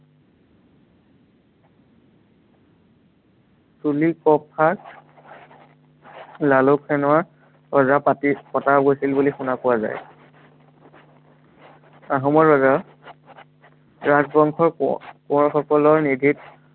চুলিকফাক লালুকসেনৰ ৰজা পাতি, পতা হৈছিল বুলি শুনা পোৱা যায়। আহোমৰ ৰজা ৰাজবংশৰ, কোঁৱ~কোঁৱৰসকলৰ নিৰ্দেশ